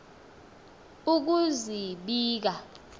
ukuzibika